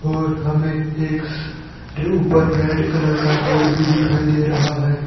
और हमें एक ऊपर रेड कलर का बोर्ड भी दिखाई दे रहा है।